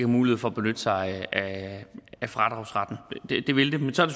mulighed for at benytte sig af fradragsretten det vil det men så er